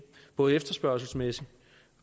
både efterspørgselsmæssigt